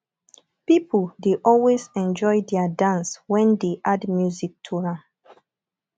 pipo dey always enjoy their dance when dey add music to am